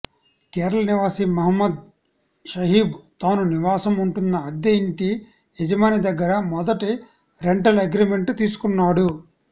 కేరళ నివాసి మహమ్మద్ షహీబ్ తాను నివాసం ఉంటున్న అద్దె ఇంటి యజమాని దగ్గర మొదట రెంటల్ అగ్రిమెంట్ తీసుకున్నాడు